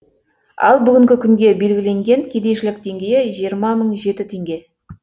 ал бүгінгі күнге белгіленген кедейшілік деңгейі жиырма мың жеті теңге